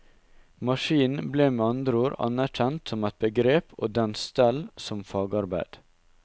Maskinen ble med andre ord anerkjent som et begrep og dens stell som fagarbeid.